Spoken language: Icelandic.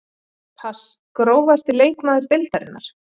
pass Grófasti leikmaður deildarinnar?